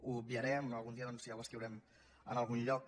ho obviarem algun dia ja ho escriurem en algun lloc